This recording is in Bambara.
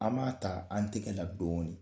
An b'a ta an tɛgɛ la dɔɔnin